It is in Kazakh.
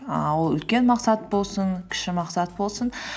ііі ол үлкен мақсат болсын кіші мақсат болсын